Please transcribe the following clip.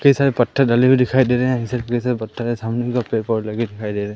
कई सारे पत्थर डले हुए दिखाई दे रहे हैं पत्थर के सामने पेड़ पौधे लगे दिखाई दे रहे--